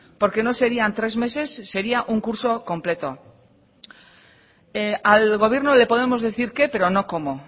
porque no serían tres meses sería un curso completo al gobierno le podemos decir qué pero no cómo